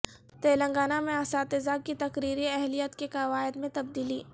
تلنگانہ میں اساتذہ کی تقرری اہلیت کے قواعد میں تبدیلی